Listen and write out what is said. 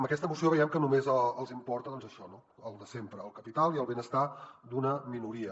amb aquesta moció veiem que només els importa això el de sempre el capital i el benestar d’una minoria